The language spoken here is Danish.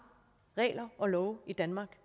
regler og love i danmark